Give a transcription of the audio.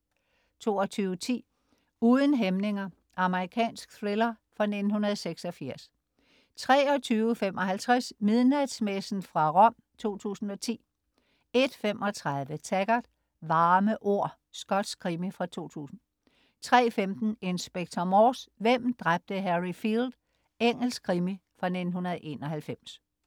22.10 Uden hæmninger. Amerikansk thriller fra 1986 23.55 Midnatsmessen fra Rom 2010 01.35 Taggart: Varme ord. Skotsk krimi fra 2000 03.15 Inspector Morse: Hvem dræbte Harry Field?. Engelsk krimi fra 1991